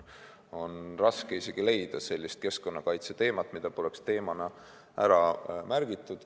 On raske isegi leida sellist keskkonnakaitseteemat, mida poleks teemana ära märgitud.